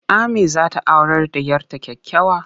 Ammi za ta aurar da 'yar ta kyakkyawa.